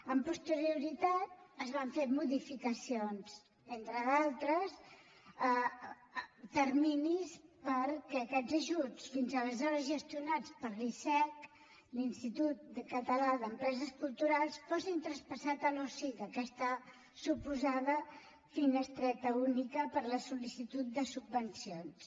amb posterioritat es van fer modificacions entre d’altres terminis perquè aquests ajuts fins aleshores gestionats per l’icec l’institut català d’empreses culturals fossin traspassats a l’osic aquesta suposada finestreta única per a la sol·licitud de subvencions